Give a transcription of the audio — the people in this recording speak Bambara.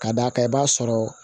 Ka d'a kan i b'a sɔrɔ